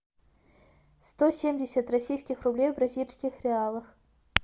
сто семьдесят российских рублей в бразильских реалах